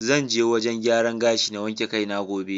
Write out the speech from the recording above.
Zan je wajen gyaran gashi na wanke kai ne gobe.